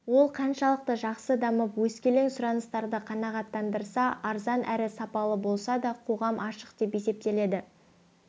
ол қаншалықты жақсы дамып өскелең сұраныстарды қанағаттандырса арзан әрі сапалы болса сол қоғам ашық деп есептеледі